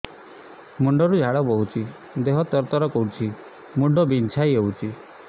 ମୁଣ୍ଡ ରୁ ଝାଳ ବହୁଛି ଦେହ ତର ତର କରୁଛି ମୁଣ୍ଡ ବିଞ୍ଛାଇ ହଉଛି